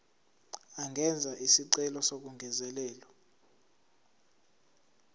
angenza isicelo sokungezelelwa